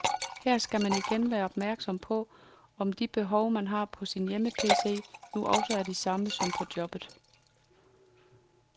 Her skal man igen være opmærksom på, om de behov, man har på sin hjemme PC, nu også er de samme som på jobbet.